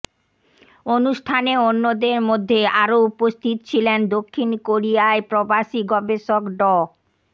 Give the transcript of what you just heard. অনুষ্ঠানে অন্যদের মধ্যে আরও উপস্থিত ছিলেন দক্ষিণ কোরিয়ায় প্রবাসী গবেষক ড